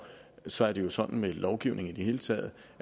så er det jo sådan med lovgivning i det hele taget